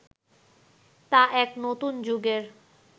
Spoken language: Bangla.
তা এক নতুন যুগের